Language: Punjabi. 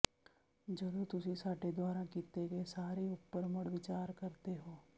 ਜਦੋਂ ਤੁਸੀਂ ਸਾਡੇ ਦੁਆਰਾ ਕੀਤੇ ਗਏ ਸਾਰੇ ਉਪਰ ਮੁੜ ਵਿਚਾਰ ਕਰਦੇ ਹੋ